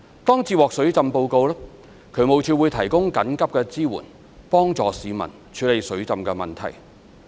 當接獲水浸報告，渠務署會提供緊急支援幫助市民處理水浸問題。